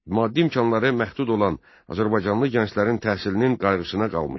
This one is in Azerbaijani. Maddi imkanları məhdud olan azərbaycanlı gənclərin təhsilinin qayğısına qalmışdı.